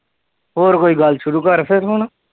ਹੋਰ ਕੋਈ ਗੱਲ ਸ਼ੁਰੂ ਕਰ ਫਿਰ ਹੁਣ।